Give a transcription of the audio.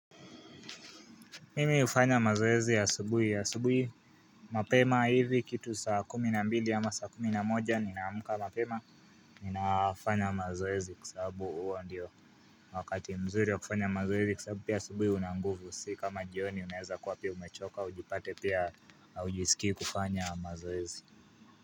Mimi hufanya mazoezi ya asubuhi ya asubuhi mapema hivi kitu saa kumi na mbili ama saa kumi na moja ninaamka mapema ninafanya mazoezi kwa sababu huo ndio wakati mzuri ya kufanya mazoezi kwa sababu pia asubuhi unanguvu sio kama jioni unaweza kuwa pia umechoka ujipate pia hujisikii kufanya mazoezi.